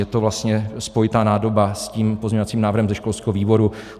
Je to vlastně spojitá nádoba s tím pozměňovacím návrhem ze školského výboru.